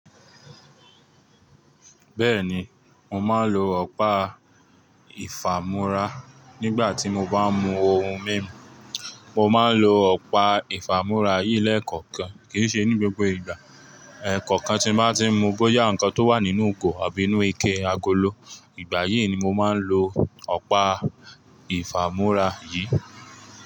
Bẹ́ẹ̀ni, mo máa ń lo ọ̀pá ìfàmúrà nígbà tí mo bá ń mu ohun mímu. Mo máa ń lo ọ̀pá ìfàmúrà yìí lẹ́ẹ̀kọ̀kan, kì í ṣe ní gbogbo ìgbà. Ẹ̀ẹ̀kọ̀kan tí mo bá tí ń mu bóyá nǹkan tó wà nínú ìgò àbí inú ike, agolo, ìgbà yìí ni mo máa ń lo ọ̀pá ìfàmúrà yìí.